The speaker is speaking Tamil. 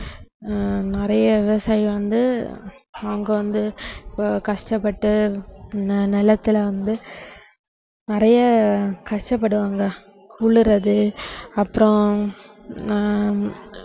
ஆஹ் நிறைய விவசாயி வந்து அவங்க வந்து அஹ் கஷ்டப்பட்டு நி~ நிலத்தில வந்து நிறைய கஷ்டப்படுவாங்க உழுறது அப்புறம் ஆஹ்